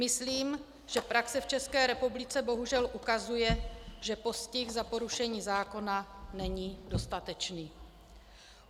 Myslím, že praxe v České republice bohužel ukazuje, že postih za porušení zákona není dostatečný.